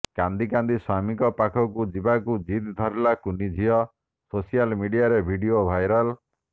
କାନ୍ଦି କାନ୍ଦି ସ୍ବାମୀଙ୍କ ପାଖକୁ ଯିବାକୁ ଜିଦ୍ ଧରିଲା କୁନି ଝିଅ ସୋସିଆଲ ମିଡିଆରେ ଭିଡିଓ ଭାଇରାଲ୍